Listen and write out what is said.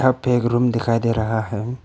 एक रूम दिखाई दे रहा है।